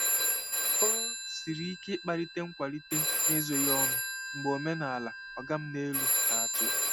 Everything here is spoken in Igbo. Ọ siri ike ịkparịta nkwalite n'ezoghị ọnụ mgbe omenala “oga m n'elu” na-achị.